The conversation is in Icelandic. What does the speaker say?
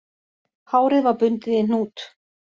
Hárið var bundið í hnút